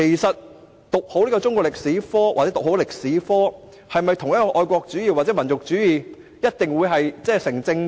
讀好中史與愛國主義或民族主義是否一定成正比？